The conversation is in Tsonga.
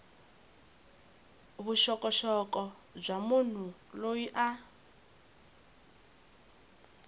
vuxokoxoko bya munhu loyi a